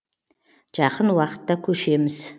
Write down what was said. жақын уақытта көшеміз